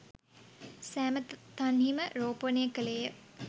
සෑම තන්හිම රෝපණය කළේය.